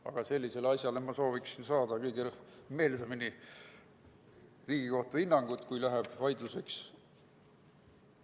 Aga sellisele asjale sooviksin ma kõige meelsamini saada Riigikohtu hinnangut, juhul kui läheb vaidluseks.